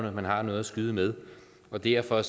at man har noget at skyde med og derfor